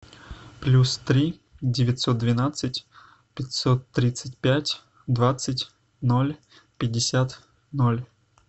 плюс три девятьсот двенадцать пятьсот тридцать пять двадцать ноль пятьдесят ноль